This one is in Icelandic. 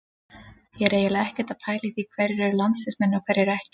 Ég er eiginlega ekkert að pæla í því hverjir eru landsliðsmenn og hverjir ekki.